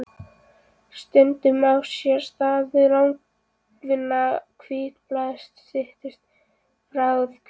Stundum á sér stað að langvinna hvítblæðið snýst í bráða-hvítblæði.